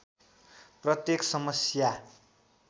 प्रत्येक समस्या